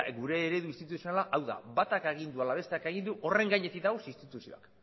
gure eredu instituzionala hau da batak agindu ala besteak agindu horren gainetik daude instituzioak